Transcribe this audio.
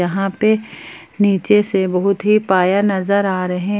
यहां पे नीचे से बहुत ही पाया नजर आ रहे--